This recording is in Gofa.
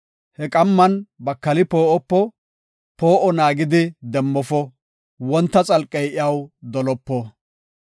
He qamman bakali poo7opo; poo7o naagidi demmofo; wonta xalqey iyaw dolopo.